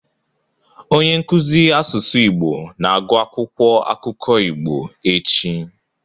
Onye nkuzi asụsụ Igbo na-agụ akwụkwọ akụkọ Igbo echi.